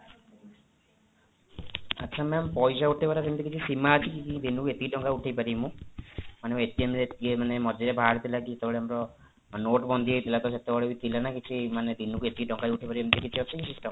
ଆଚ୍ଛା ma'am ପଇସା ଉଠେଇବାର ସେମିତି କିଛି ସୀମା ଅଛି କି ଦିନକୁ ଏତିକି ଟଙ୍କା ଉଠେଇପାରିବ ମୁଁ ମାନେ ରେ ଇଏ ମଝିରେ ବାହାରିଥିଲା କି ଯେତେବେଳେ ଆମର note ବନ୍ଦୀ ହେଇଥିଲା ତ ସେତେବେଳେ ବି ଥିଲା ନା କିଛି ଦିନକୁ ଏତିକି ଟଙ୍କା ଉଠେଇପାରିବ ଏମିତି କିଛି ଅଛି କି system